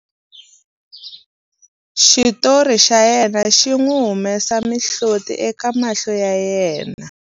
xitori xa yena xi n'wi humesa mihloti eka mahlo ya yena